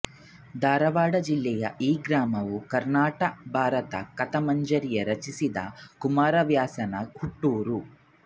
ಧಾರವಾಡ ಜಿಲ್ಲೆಯ ಈ ಗ್ರಾಮವು ಕರ್ಣಾಟ ಭಾರತ ಕಥಾಮಂಜರಿಯನ್ನು ರಚಿಸಿದ ಕುಮಾರವ್ಯಾಸನ ಹುಟ್ಟೂರು